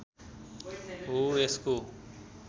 हो यसको